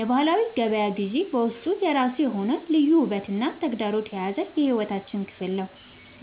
የባህላዊ ገበያ ግዢ በውስጡ የራሱ የሆነ ልዩ ውበትና ተግዳሮት የያዘ የሕይወታችን ክፍል ነው።